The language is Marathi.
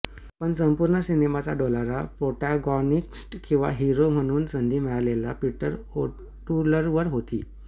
पण संपूर्ण सिनेमाचा डोलारा प्रोटॅगॉनिस्ट किंवा हिरो म्हणून संधी मिळालेल्या पीटर ओटूलवर होती